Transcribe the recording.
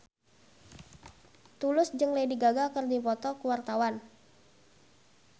Tulus jeung Lady Gaga keur dipoto ku wartawan